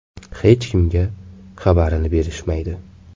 Hech kimga xabarini berishmaydi.